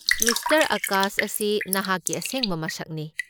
Mister Akash ꯑꯁꯤ ꯅꯍꯥꯛꯀꯤ ꯑꯁꯦꯡꯕ ꯃꯁꯛꯅꯤ꯫